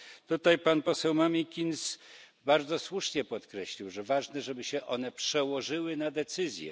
Tutaj pan poseł Mamikins bardzo słusznie podkreślił, że ważne, żeby się one przełożyły na decyzje.